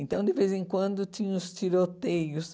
Então, de vez em quando, tinha os tiroteios.